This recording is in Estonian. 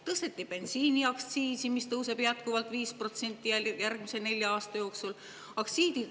Tõsteti bensiiniaktsiisi, mis tõuseb jätkuvalt 5% järgmise nelja aasta jooksul.